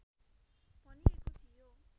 भनिएको थियो